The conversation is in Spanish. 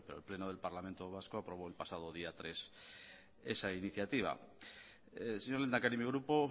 el pleno del parlamento vasco aprobó el pasado día tres esa iniciativa señor lehendakari mi grupo